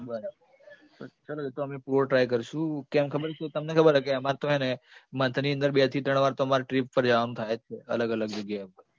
બરાબર ચલો એ તો અમે પૂરો try કરશું કેમ ખબર છે તમને ખબર છે કે અમારે તો છે ને month ની અંદર બે-ત્રણ trip પર જવાનું થાય જ છે, અલગ અલગ જગ્યા પર